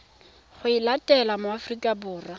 go etela mo aforika borwa